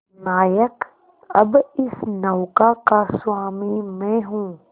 नायक अब इस नौका का स्वामी मैं हूं